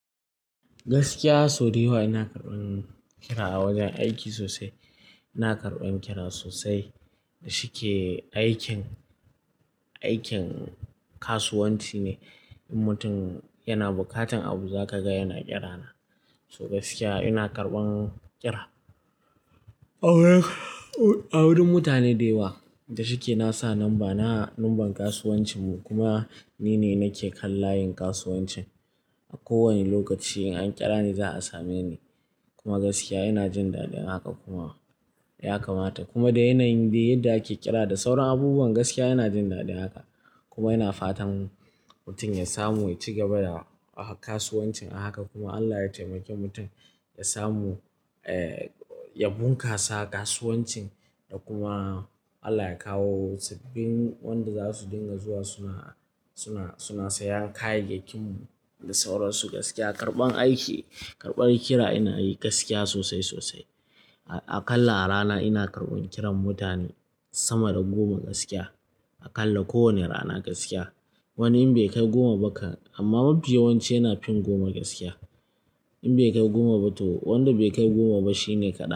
Gaskiya sau dayawa ina karban ƙira a wajen aiki sosai. Ina karban ƙira sosai da shike aikin, aikin kasuwanci ne. In mutum yana bukatan abu za ka ga yana ƙira na. To gaskiya ina karban ƙira. A wurin, a wurin mutane da yawa da shike na sa numberna, na sa number kasuwancin mu kuma nine nake kan layin kasuwancin. A kowane lokaci in an ƙira ni za a same ni. Kuma gaskiya ina jin daɗin haka kuma ya kamata. Kuma da yanayin dai yadda ake ƙira da sauran abubuwan gaskiya ina jin daɗin haka. Kuma ina fatan mutum ya samu ya ci gaba da kasuwancin a haka kuma Allah ya taimake mutum ya samu, eh, ya bunƙasa kasuwancin da kuma Allah ya kawo sabbin wanda za su dinga zuwa suna, suna, suna sayan kayayyakinmu da sauran su gaskiya karban aiki, karban ƙira ina yi gaskiya sosai, sosai. A kalla a rana ina karban ƙiran mutane sama da goma gaskiya. A kalla kowane rana gaskiya. Wanin bai kai goma ba kan, amma mafi yawanci yana fin goma gaskiya. In bai kai goma ba to wanda bai kai goma ba shine kaɗan.